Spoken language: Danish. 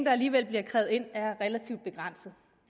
alligevel bliver krævet ind er relativt begrænsede